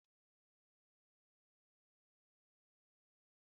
Ana m eri makaroni na kichin